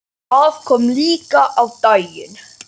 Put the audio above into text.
Það kom líka á daginn.